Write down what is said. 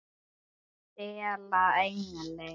STELA ENGLI!